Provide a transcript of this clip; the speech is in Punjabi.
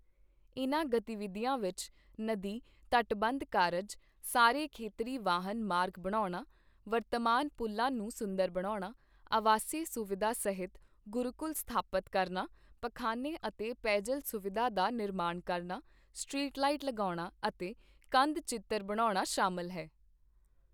ਇਨ੍ਹਾਂ ਗਤੀਵਿਧੀਆਂ ਵਿੱਚ ਨਦੀ ਤਟਬੰਧ ਕਾਰਜ, ਸਾਰੇ ਖੇਤਰੀ ਵਾਹਨ ਮਾਰਗ ਬਣਾਉਣਾ, ਵਰਤਮਾਨ ਪੁਲ਼ਾਂ ਨੂੰ ਸੁੰਦਰ ਬਣਾਉਣਾ, ਆਵਾਸੀ ਸੁਵਿਧਾ ਸਹਿਤ ਗੁਰੂਕੁਲ ਸਥਾਪਤ ਕਰਨਾ, ਪਖਾਨੇ ਅਤੇ ਪੇਯਜਲ ਸੁਵਿਧਾ ਦਾ ਨਿਰਮਾਣ ਕਰਨਾ, ਸਟ੍ਰੀਟ ਲਾਈਟ ਲਗਾਉਣਾ ਅਤੇ ਕੰਧ ਚਿੱਤਰ ਬਣਾਉਣਾ ਸ਼ਾਮਿਲ ਹੈ।